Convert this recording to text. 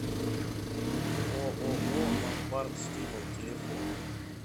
ооо ломбард стимул телефон